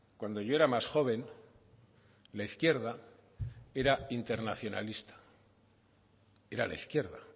cuando yo era más joven la izquierda era internacionalista era la izquierda